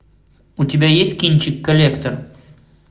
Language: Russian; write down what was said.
у тебя есть кинчик коллектор